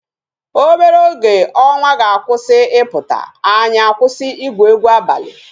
Obere oge ọnwa ga-akwụsị ịpụta, anyị akwụsị igwu egwu abalị